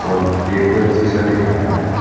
और ये यह घर जैसा दिख रहा है।